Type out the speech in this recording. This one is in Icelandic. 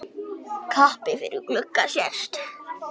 Kappi yfir glugga sést.